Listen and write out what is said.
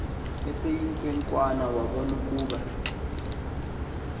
eseyinkwenkwana wabona ukuba